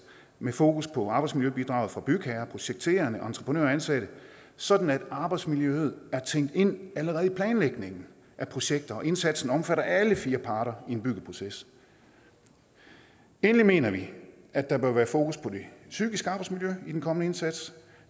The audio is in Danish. med fokus på arbejdsmiljøbidraget fra bygherrer projekterende entreprenører og ansatte sådan at arbejdsmiljø er tænkt ind allerede i planlægningen af projekter og indsatsen omfatter alle fire parter i et byggeprojekt endelig mener vi at der bør være fokus på det psykiske arbejdsmiljø i den kommende indsats